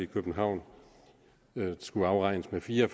københavn skulle afregnes med fire